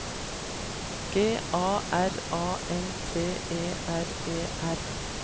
G A R A N T E R E R